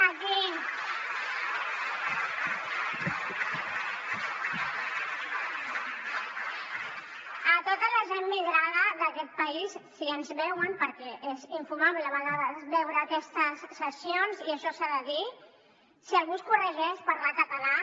a tota la gent migrada d’aquest país si ens veuen perquè és infumable a vegades veure aquestes sessions i això s’ha de dir si algú us corregeix parlar català